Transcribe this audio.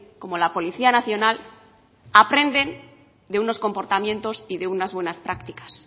como la policía nacional aprenden de unos comportamientos y de unas buenas prácticas